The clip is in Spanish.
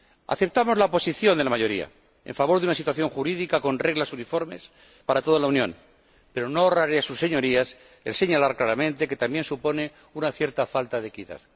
Aceptamos la posición de la mayoría en favor de una situación jurídica con reglas uniformes para toda la Unión, pero no ahorraré a sus Señorías el señalar claramente que también supone una cierta falta de equidad.